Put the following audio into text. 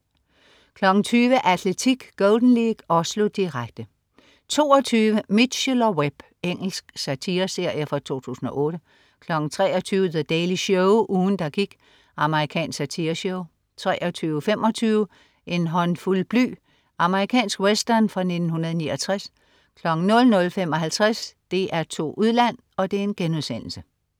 20.00 Atletik: Golden League. Oslo, direkte 22.00 Mitchell & Webb. Engelsk satireserie fra 2008 23.00 The Daily Show. Ugen der gik. Amerikansk satireshow 23.25 En håndfuld bly. Amerikansk western fra 1969 00.55 DR2 Udland*